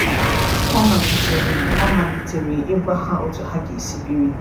Ọ malitere Ọ malitere ịgwa ha otu ha ga-esi biri.